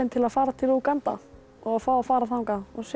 að fara til Úganda og fá að fara þangað og sjá